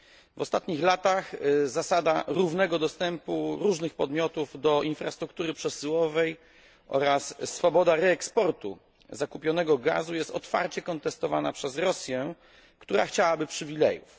W ostatnich latach zasada równego dostępu różnych podmiotów do infrastruktury przesyłowej oraz swoboda reeksportu zakupionego gazu jest otwarcie kontestowana przez Rosję, która chciałaby przywilejów.